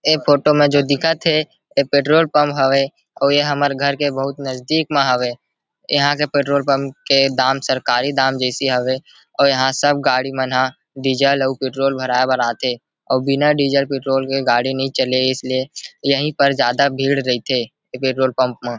ऐ फोटो में जो दिखत हे ऐ पेट्रोल पंप हवे और ये हमर घर के बहुत नजदीक में हवे यहां के पेट्रोल के दाम सरकारी दाम जैसे हवे अउ यहां सब गाड़ी मन ह डीज़ल और पेट्रोल भराय बर आथे अऊ बिना डीज़ल पेट्रोल गाड़ी नई चलय इसलिए यही पर जादा भीड़ रईथे ए पेट्रोल पंप म।